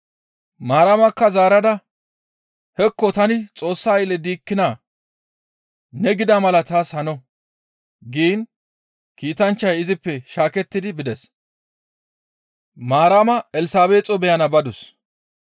Maaramakka zaarada, «Hekko tani Xoossa aylle diikkinaa; ne gida mala taas hano» giin kiitanchchay izippe shaakettidi bides. Maarama Elsabeexo beyana badus.